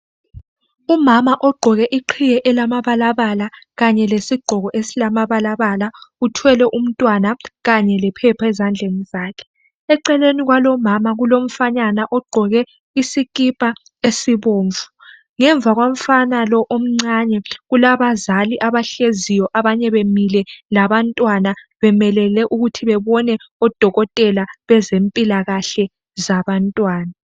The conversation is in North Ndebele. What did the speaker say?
Umama ogqoke iqhiye elamabalabala kanye lesigqoko esilamabalabala uthwele umtwana kanye lephepha ezandleni zakhe eceleni kwalo umama kulomfanyana ogqoke isikipha esibomvu ngemva komfana lo omncane kulabazali abahleziyo abanye bemile labantwana bemelele ukuthi bebone odokotela bezempilakahle zabantwana